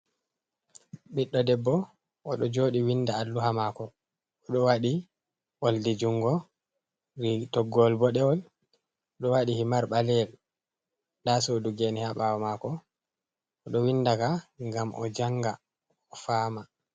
Ɓiɗdo debbo o ɗo jooɗi winnda alluha maako. O ɗo waɗi ooldi junngo, toggol boɗeewol ,o ɗo waɗi himar ɓaleyel. Ndaa suudu geene haa ɓaawo maako ,o ɗo winnda ka ngam o jannga o faama.